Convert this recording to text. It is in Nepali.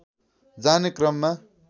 जाने क्रममा